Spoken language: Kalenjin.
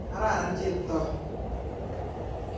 Kararan Cheptoo.